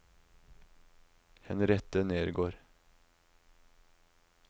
Henriette Nergård